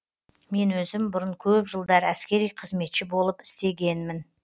мен өзім бұрын көп жылдар әскери қызметші болып істегенмін